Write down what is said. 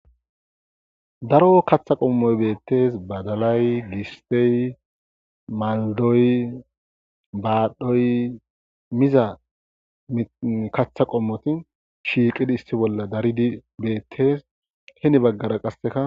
daro katha qommoy beettes badalay gistey maldoy baadhdhoy miza katha qommoti shiiqidi issi bolla daridi beettes heni baggara qasseka